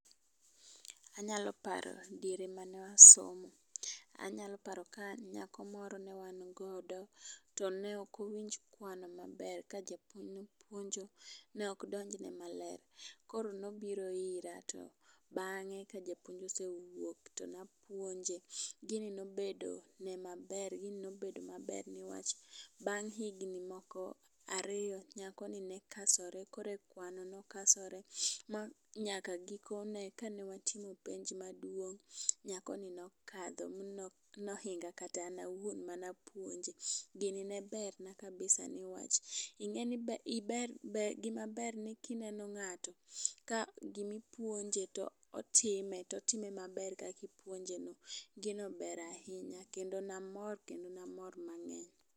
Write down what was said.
Anyalo paro ni diere mane wasomo. Anyalo paro ka nyako moro ne wan godo, to ne ok owinj kwan maber. Ka japuonj ne puonjo, ne ok donjne maler. Koro ne obiro ira, bangé ka japuonj ne osewuok to ne apuonje. Gini ne obedo ne maber, gini ne obedo maber, newach, bang' higni moko ariyo, nyakoni ne kasore koro e kawano. Ne okasore ma nyaka gikone, kanewatimo penj maduong' nyakoni ne okadho, ma no, nohinga kata an awuon mane apuoje. Gini ne ber na kabisa newach, ingéni gima ber ni kineno ng'ato, ka gima ipuonje to otime, otime maber kaka ipuonje no. Gino ber ahinya, kendo namor, kendo namor mangény.